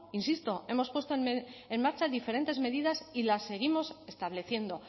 insisto hemos puesto en marcha diferentes medidas y las seguimos estableciendo